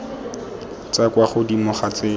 tswa kwa godimo ga tsela